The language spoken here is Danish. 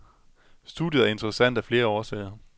Studiet er interessant af flere årsager.